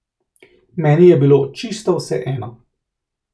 Meni je bilo čisto vseeno.